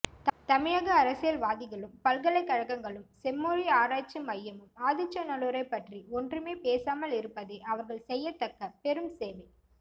தமிழக அரசியல்வாதிகளும் பல்கலைகளும் செம்மொழி ஆராய்ச்சி மையமும் ஆதிச்சந்ல்லூரைப் பற்றி ஒன்றுமே பேசாமல் இருப்பதே அவர்கள் செய்யத்தக்க பெரும் சேவை